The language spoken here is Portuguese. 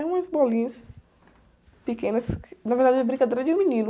É umas bolinhas pequenas, na verdade é brincadeira de menino.